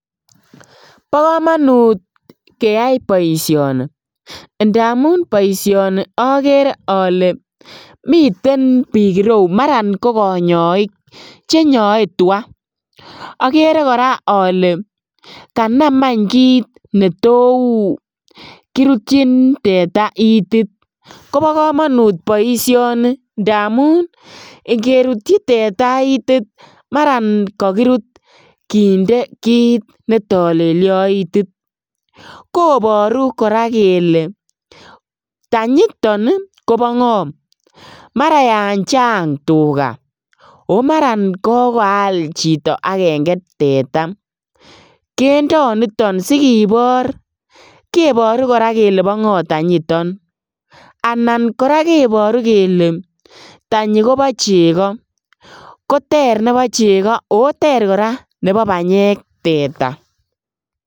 Bokomonut keyai boisioni ndamun boisioni okeree ole miten bik ireu maran kokonyoik chenyoe twaa, okere ole kanam any kit netou kirutchin teta itit, kobo komonut boisioni ndamun ingerutchi teta itit maran okot kondee kit netolelio itit, koboru koraa kele tanyiton ii kobongoo maran yan chang tugaa, o maran kokaal chito agenge teta kindo niton sikibor kiboru koraa kele bongoo tanyiton anan koraa kiboru kele tanyi kobochego koter nebo cheko oo ter nebo banyeek teta.